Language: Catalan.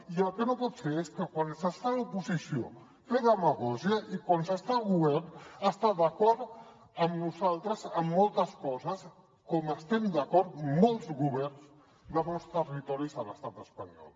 i el que no pot ser és que quan s’està a l’oposició fer demagògia i quan s’està al govern estar d’acord amb nosaltres en moltes coses com estem d’acord molts governs de molts territoris a l’estat espanyol